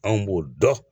Anw b'o dɔn